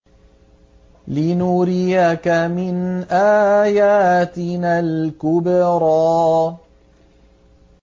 لِنُرِيَكَ مِنْ آيَاتِنَا الْكُبْرَى